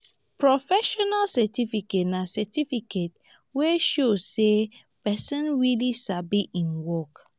professional certificate na certificate wey show sey person really sabi im work